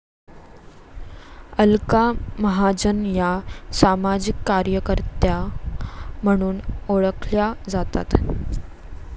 अलका महाजन या सामाजिक कार्यकर्त्या म्हणून ओळखल्या जातात